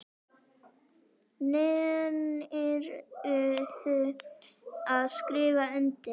Nennirðu að skrifa undir?